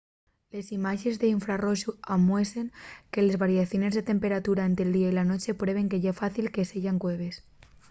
les imáxenes d’infrarroxu amuesen que les variaciones de temperatura ente’l día y la nueche prueben que ye fácil que seyan cueves